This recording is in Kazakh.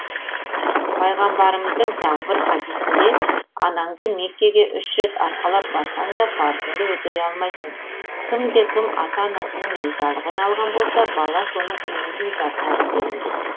пайғамбарымыздың тағы бір хадисінде анаңды меккеге үш рет арқалап барсаң да парызыңды өтей алмайсың кімде кім ата анасының ризалығын алған болса бала соның өмірін ұзартады делінген